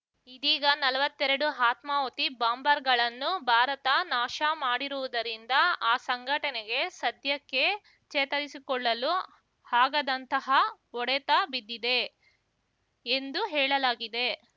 ಇದೀಗ ನಲ್ವತ್ತೆರಡು ಆತ್ಮಾಹುತಿ ಬಾಂಬರ್‌ಗಳನ್ನು ಭಾರತ ನಾಶ ಮಾಡಿರುವುದರಿಂದ ಆ ಸಂಘಟನೆಗೆ ಸದ್ಯಕ್ಕೆ ಚೇತರಿಸಿಕೊಳ್ಳಲು ಆಗದಂತಹ ಹೊಡೆತ ಬಿದ್ದಿದೆ ಎಂದು ಹೇಳಲಾಗಿದೆ